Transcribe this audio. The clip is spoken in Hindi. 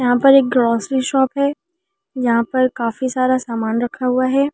यहां पर ग्रोसरी शॉप है यहां पर काफी सारा सामान रखा हुआ है।